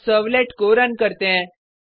अब सर्वलेट को रन करते हैं